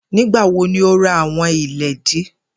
Nigbawo ni o ra awọn iledìí?